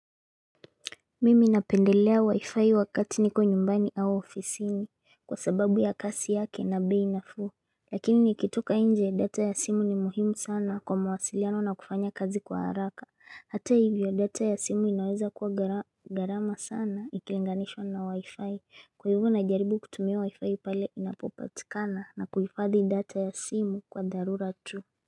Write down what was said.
Mimi napendelea wi-fi wakati niko nyumbani au ofisini kwa sababu ya kasi yake na bei nafuu Lakini nikitoka nje data ya simu ni muhimu sana kwa mawasiliano na kufanya kazi kwa haraka Hata hivyo data ya simu inaweza kuwa gharama gharama sana ikilinganishwa na wi-fi Kwa hivyo najaribu kutumia wi-fi pale inapopatikana na kuhifadhi data ya simu kwa dharura tu.